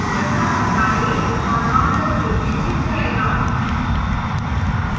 cursor हटा दें और launcher फिर से छिप जाएगा